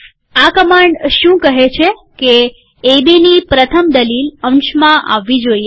આ કમાંડ શું કહે છે કે એબીની પ્રથમ દલીલ અંશમાં આવવી જોઈએ